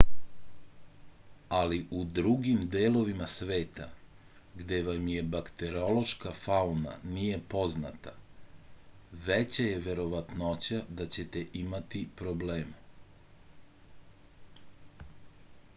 ali u drugim delovima sveta gde vam je bakteriološka fauna nije poznata veća je verovatnoća da ćete imati problema